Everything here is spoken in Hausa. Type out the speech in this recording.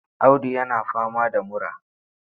Audu yana fama da mura.